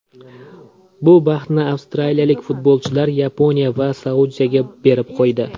Bu baxtni avstraliyalik futbolchilar Yaponiya va Saudiyaga berib qo‘ydi.